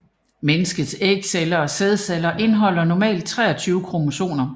Menneskets ægceller og sædceller indeholder normalt 23 kromosomer